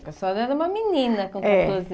Porque a senhora era uma menina com quatorze